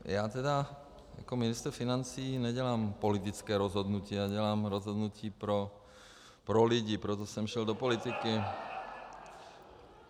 Já tedy jako ministr financí nedělám politické rozhodnutí, já dělám rozhodnutí pro lidi, proto jsem šel do politiky.